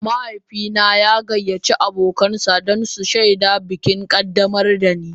Mahaifina ya gayyaci abokansa don su shaida bikin ƙaddamar da ni.